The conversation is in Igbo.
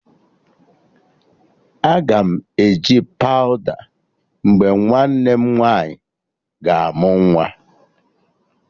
Aga m eje pawụda mgbe nwanne nwaanyị ga amụ nwa